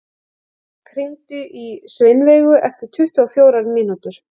Auðberg, hringdu í Sveinveigu eftir tuttugu og fjórar mínútur.